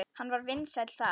Hann var vinsæll þar.